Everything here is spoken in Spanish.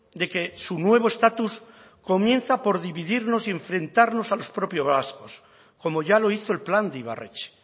de que su nuevo estatus comienza por dividirnos y enfrentarnos a los propios vascos como ya lo hizo el plan de ibarretxe